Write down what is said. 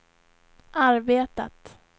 arbetat